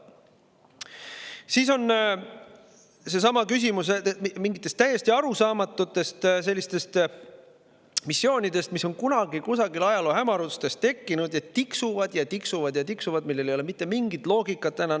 Siis on seesama küsimus mingitest täiesti arusaamatutest missioonidest, mis on kunagi kusagil ajaloo hämarustes tekkinud ja mis tiksuvad ja tiksuvad ja tiksuvad, aga millel ei ole enam mitte mingit loogikat.